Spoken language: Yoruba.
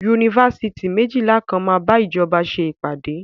Yunifásitì méjìlà kan máa bá ìjọba ṣe ìpàdé.